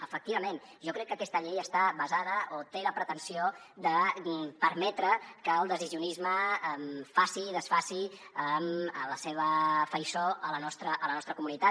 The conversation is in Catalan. efectivament jo crec que aquesta llei té la pretensió de permetre que el decisionisme faci i desfaci a la seva faiçó a la nostra comunitat